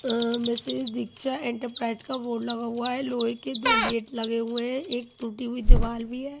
आं message Diksha enterprise का board लगा हुआ है लोहे के दो गेट लगे हुए हैं एक टूटी हुई दीवाल भी है।